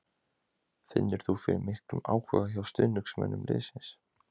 Finnur þú fyrir miklum áhuga hjá stuðningsmönnum liðsins?